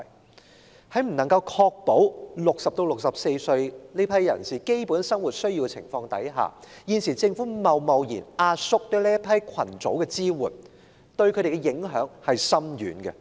現時政府在未能確保60歲至64歲人士的基本生活所需的情況下貿然壓縮對這個群組的支援，對他們的影響深遠。